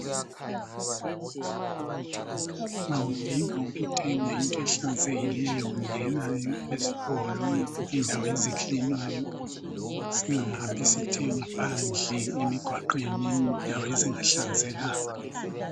Nxa udinga ukuthenga into ehlanzekilleyo ngena esitolo, endaweni ezikilinwayo, singahambi sithenga phandle emgwaqweni endaweni ezingahlanzekanga.